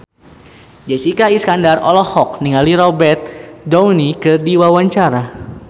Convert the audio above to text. Jessica Iskandar olohok ningali Robert Downey keur diwawancara